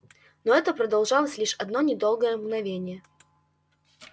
но это продолжалось лишь одно недолгое мгновение